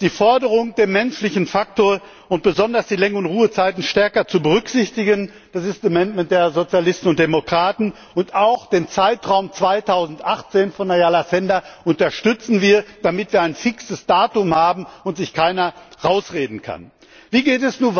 die Forderung, den menschlichen Faktor und besonders die Lenk und Ruhezeiten stärker zu berücksichtigen. Das ist der Änderungsantrag der Sozialisten und Demokraten, und auch den Zeitraum 2018 von Frau Ayala Sender unterstützen wir, damit wir ein fixes Datum haben und sich keiner herausreden kann. Wie geht es nun